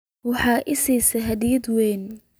Waxaad i siisay hadiyad weyn